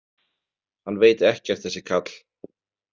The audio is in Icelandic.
Hann veit ekkert þessi karl.